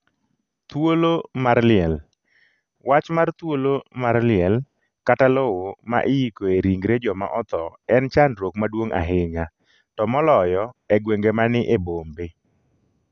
thuolo mar liel: Wach mar thuolo mar liel kata lowo ma iikoe ringre joma otho en chandruok maduong’ ahinya, to moloyo e gwenge mani e bombe.